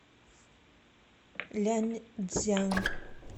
ляньцзян